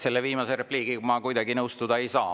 Selle viimase repliigiga ma kuidagi nõustuda ei saa.